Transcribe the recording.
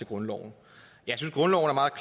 grundloven